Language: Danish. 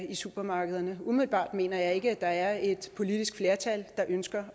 i supermarkederne umiddelbart mener jeg ikke der er et politisk flertal der ønsker